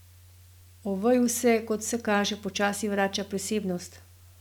Oveju se, kot vse kaže, počasi vrača prisebnost.